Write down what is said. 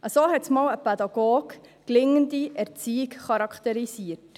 So hat einmal ein Pädagoge gelingende Erziehung charakterisiert.